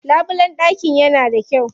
Labulen ɗakin yana da kyau.